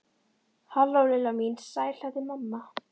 Halló, Lilla mín, sæl þetta er mamma.